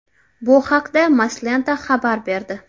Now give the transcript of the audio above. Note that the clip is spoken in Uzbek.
Bu haqda Moslenta xabar berdi .